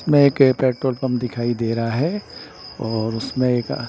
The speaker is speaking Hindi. में एक पेट्रोल पंप दिखाई दे रहा है और उसमें एक अ--